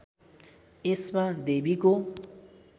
यसमा देवीको